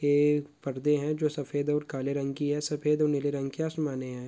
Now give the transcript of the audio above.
ये एक पर्दे हैं जो सफ़ेद और काले रंग की है सफ़ेद और नील रंग की आसमाने है।